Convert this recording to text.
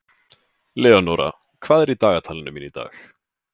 Leonóra, hvað er í dagatalinu mínu í dag?